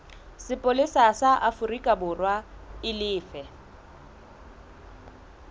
sepolesa sa aforikaborwa e lefe